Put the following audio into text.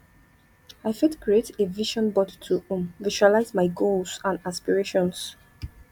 i fit create a vision board to um visualize my goals and aspirations